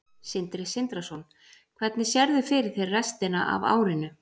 Sindri Sindrason: Hvernig sérðu fyrir þér restina af árinu?